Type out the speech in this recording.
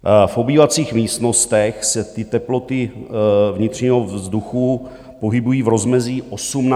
V obývacích místnostech se ty teploty vnitřního vzduchu pohybují v rozmezí 18 až 21 stupňů.